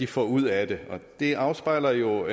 får ud af det det afspejler jo